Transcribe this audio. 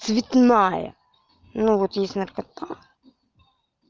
цветная ну вот не знаю как